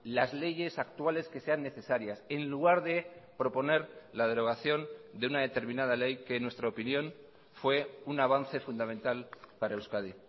las leyes actuales que sean necesarias en lugar de proponer la derogación de una determinada ley que en nuestra opinión fue un avance fundamental para euskadi